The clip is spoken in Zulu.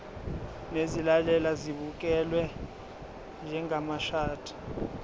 nezilalelwa zibukelwe njengamashadi